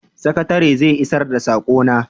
sakataren zai isar da sakona?